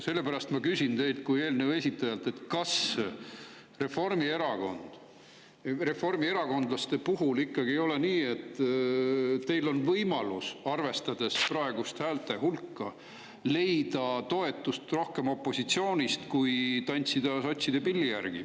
Sellepärast ma küsin teilt kui eelnõu esitajalt, kas reformierakondlaste puhul ikkagi ei ole nii, et teil on võimalus, arvestades praegust häälte hulka, leida toetust rohkem opositsioonist kui tantsida sotside pilli järgi.